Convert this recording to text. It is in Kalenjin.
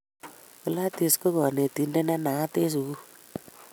Gladys ko kanetindet ne naat en sukul